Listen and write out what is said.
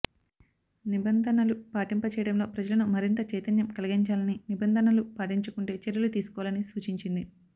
నిబంధనలు పాటింప చేయడంలో ప్రజలను మరింత చైతన్యం కలిగించాలని నిబంధనలు పాటించకుంటే చర్యలు తీసుకోవాలని సూచించింది